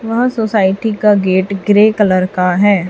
वह सोसाइटी का gate grey colour का है।